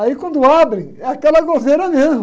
Aí quando abrem, é aquela gozeira mesmo.